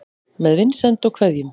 Með vinsemd og kveðjum